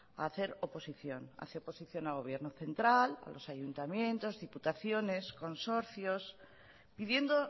a hacer oposición hace oposición al gobierno central a los ayuntamientos a diputaciones consorcios pidiendo